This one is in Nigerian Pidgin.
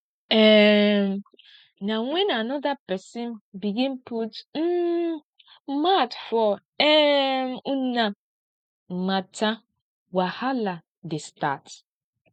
um na wen anoda pesin begin put um mouth for um una mata wahala dey start